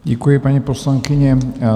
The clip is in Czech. Děkuji, paní poslankyně.